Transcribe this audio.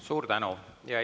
Suur tänu!